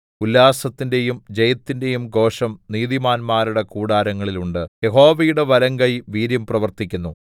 ഉല്ലാസത്തിന്റെയും ജയത്തിന്റെയും ഘോഷം നീതിമാന്മാരുടെ കൂടാരങ്ങളിൽ ഉണ്ട് യഹോവയുടെ വലങ്കൈ വീര്യം പ്രവർത്തിക്കുന്നു